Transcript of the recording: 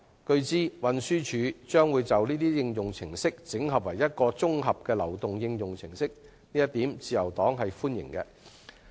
據知，運輸署將會把這些應用程式整合成為一套綜合流動應用程式，自由黨對此表示歡迎。